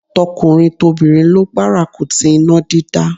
Tọkùnrin tobìnrin ló gbárùkù ti iná dídá.